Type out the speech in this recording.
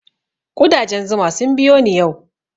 Ƙudajen zuma sun biyo ni yau